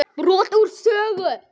Brot úr sögu